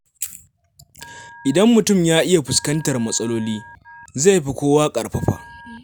Idan mutum ya iya fuskantar matsaloli, zai fi kowa ƙarfafa.